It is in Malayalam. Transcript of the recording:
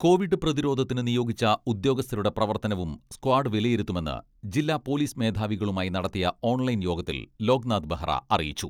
കോവിഡ് പ്രതിരോധത്തിന് നിയോഗിച്ച ഉദ്യോഗസ്ഥരുടെ പ്രവർത്തനവും സ്ക്വാഡ് വിലയിരുത്തുമെന്ന് ജില്ലാ പോലിസ് മേധാവികളുമായി നടത്തിയ ഓൺലൈൻ യോഗത്തിൽ ലോക്നാഥ് ബെഹ്റ അറിയിച്ചു.